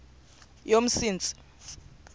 yomsintsi